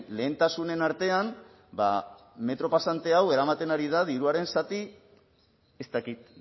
lehentasunen artean ba metro pasante hau eramaten ari da diruaren zati ez dakit